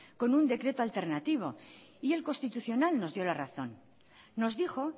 con un decreto alternativo y el constitucional nos dio la razón nos dijo